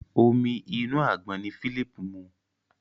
Omi inú àgbọn ní Philip mu.